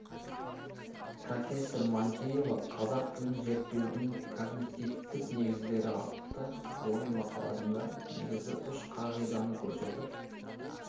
профессор манкеева қазақ тілін зерттеудің когнитивтік негіздері атты ғылыми мақаласында негізгі үш қағиданы көрсетіп